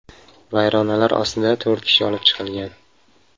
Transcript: Vayronalar ostida to‘rt kishi olib chiqilgan.